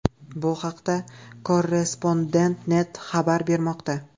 Bu haqda Korrrespondent.net xabar bermoqda .